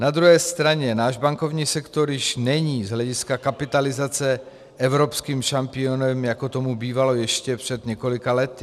Na druhé straně náš bankovní sektor již není z hlediska kapitalizace evropským šampionem, jako tomu bývalo ještě před několika lety.